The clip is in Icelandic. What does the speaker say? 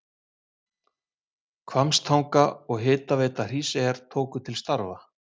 Hvammstanga og Hitaveita Hríseyjar tóku til starfa.